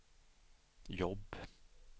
jobb